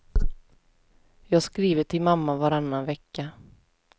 Jag skriver till mamma varannan vecka.